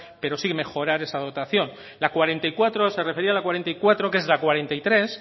pero sí mejorar esa dotación la cuarenta y cuatro se refería a la cuarenta y cuatro que es la cuarenta y tres